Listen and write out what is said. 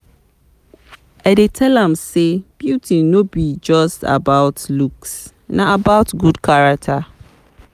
I dey tell am sey beauty no be just about looks, na about good character.